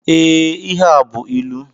Ee, ihe a bú ịlụ